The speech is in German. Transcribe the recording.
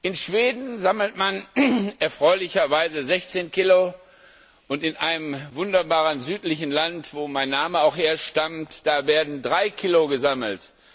In Schweden sammelt man erfreulicherweise 16 kg und in einem wunderbaren südlichen Land, wo mein Name auch herstammt, da werden drei Kilo gesammelt.